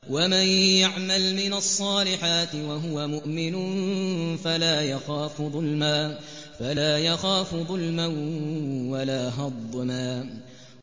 وَمَن يَعْمَلْ مِنَ الصَّالِحَاتِ وَهُوَ مُؤْمِنٌ فَلَا يَخَافُ ظُلْمًا وَلَا هَضْمًا